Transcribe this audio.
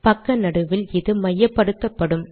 பக்க நடுவில் இது மையப்படுத்தப்படும்